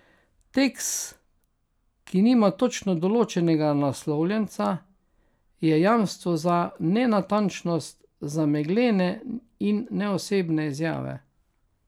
Tekst, ki nima točno določenega naslovljenca, je jamstvo za nenatančnost, za meglene in neosebne izjave.